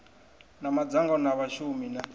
na madzangano a vhashumi na